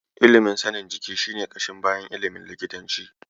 Ilimin sanin jiki shi ne ƙashin bayan ilimin likitanci.